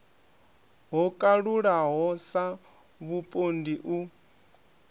ho kalulaho sa vhupondi u